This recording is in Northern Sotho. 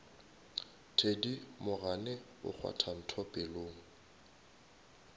thedimogane o kgwatha ntho pelong